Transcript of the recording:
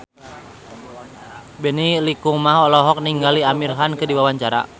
Benny Likumahua olohok ningali Amir Khan keur diwawancara